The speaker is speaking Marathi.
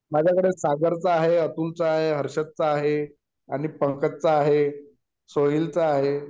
माझ्याकडे सागरचा आहे अतुलचा आहे हर्षद चा आहे आणि पंकजचा आहे सोहिल चा आहे